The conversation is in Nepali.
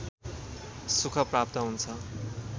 सुख प्राप्त हुन्छ